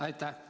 Aitäh!